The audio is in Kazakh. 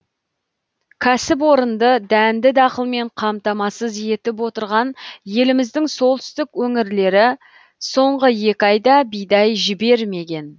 кәсіпорынды дәнді дақылмен қамтамасыз етіп отырған еліміздің солтүстік өңірлері соңғы екі айда бидай жібермеген